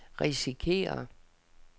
risikerer